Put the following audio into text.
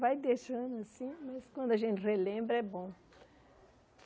Vai deixando assim, mas quando a gente relembra, é bom.